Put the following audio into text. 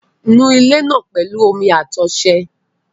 Nu ilé náà pẹ̀lú omi àti ọṣẹ